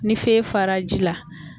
Ni feye fara ji la.